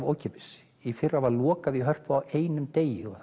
ókeypis í fyrra var loka á einum degi